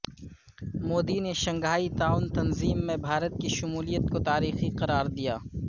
مودی نے شنگھائی تعاون تنظیم میں بھارت کی شمولیت کو تاریخی قرار دیا